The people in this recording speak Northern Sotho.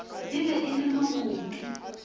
e be e le mokoto